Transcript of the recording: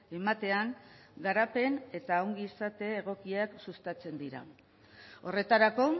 ematean garapen eta ongizate egokiak sustatzen dira horretarako